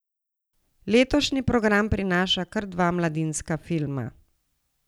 Letošnji program prinaša kar dva mladinska filma.